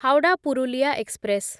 Howrah Purulia express